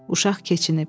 Uşaq keçinib.